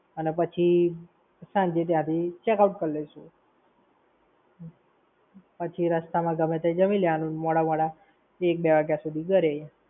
અને પછી સાંજે ત્યાંથી checkout કરી લઈશું. પછી રસ્તા માં ગમે તંઈ જામી લેવાનું મોડા મોડા, એક-બે વાગ્યા સુધી ઘરે.